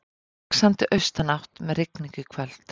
Vaxandi austanátt með rigningu í kvöld